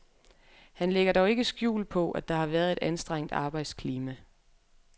Han lægger dog ikke skjul på, at der har været et anstrengt arbejdsklima.